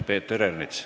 Peeter Ernits.